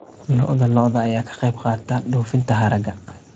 Lo'da lo'da ayaa ka qayb qaata dhoofinta hargaha.